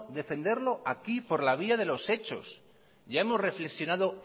defenderlo aquí por la vía de los hechos ya hemos reflexionado